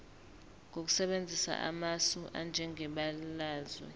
ngokusebenzisa amasu anjengebalazwe